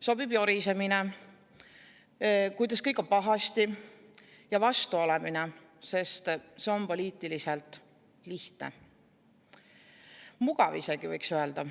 Sobib jorisemine, kuidas kõik on pahasti, ja vastu olemine, sest see on poliitiliselt lihtne – mugav, võiks isegi öelda.